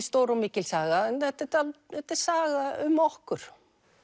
stór og mikil saga en þetta er saga um okkur